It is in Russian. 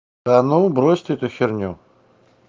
да ну брось ты эту херню